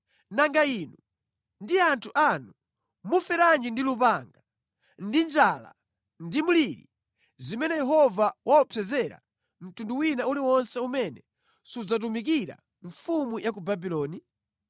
Nanga inu ndi anthu anu, muferenji ndi lupanga, ndi njala, ndi mliri, zimene Yehova waopsezera mtundu wina uliwonse umene sudzatumikira mfumu ya ku Babuloni?